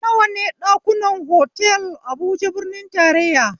Nawa ne kuɗin ɗakunan otal habuja birnin tarayya?